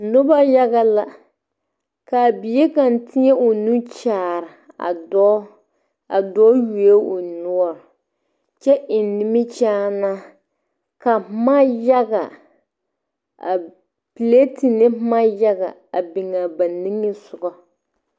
Nuba yaga la kaa bie kang teeng ɔ nu kyaare a doɔ a doɔ yuo ɔ nɔɔri kye en nimikyaane ka buma yaga plete ne buma yaga a bing a ba ninge sugu.